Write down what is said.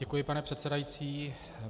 Děkuji, pane předsedající.